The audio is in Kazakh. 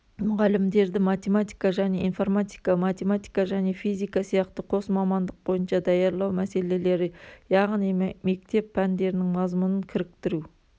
мұғалімдерді математика және информатика математика және физика сияқты қос мамандық бойынша даярлау мәселелері яғни мектеп пәндерінің мазмұнын кіріктіру